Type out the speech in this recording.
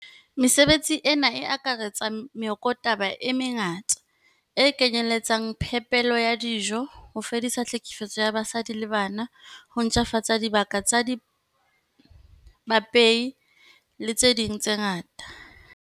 Mesebetsi ena e akaretsa meokotaba e me ngata, e kenyeletsang phepelo ya dijo, ho fedisa tlhekefetso ya basadi le bana, ho ntjhafatsa dibaka tsa baipei le tse ding tse ngata.